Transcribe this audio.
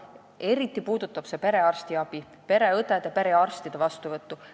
Eriti puudutab see perearstiabi, st pereõdede ja perearstide vastuvõttu.